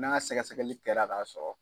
N'a sɛgɛsɛgɛli kɛra k'a sɔrɔ